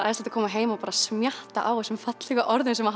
æðislegt að koma heim og bara smjatta á þessum fallegu orðum sem